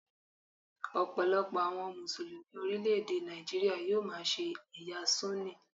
Ọ̀pọ̀lọpọ̀ àwọn Mùsùlùmí orílẹ̀ èdè Nàìjíríà yóò máa ṣe ẹ̀yà Súnì.